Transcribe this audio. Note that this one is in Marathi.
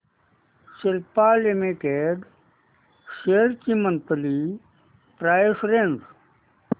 सिप्ला लिमिटेड शेअर्स ची मंथली प्राइस रेंज